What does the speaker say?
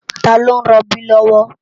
Tá ló n ròbí lòwò?